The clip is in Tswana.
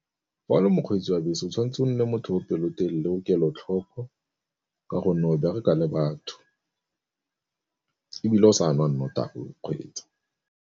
Fa o le mokgwetsi wa bese o tshwanetse o nne le motho o pelotelele o kelotlhoko ka gonne o bereka le batho, ebile o sa nwa nnotagi o kgweetsa.